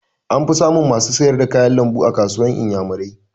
An fi samun masu sayar da kayan lambu a kasuwar inyamurai